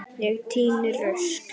Ég tíni rusl.